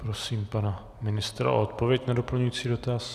Prosím pana ministra o odpověď na doplňující dotaz.